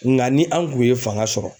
Nga ni anw kun ye fanga sɔrɔ